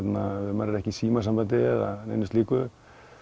maður er ekki í símasambandi eða neinu slíku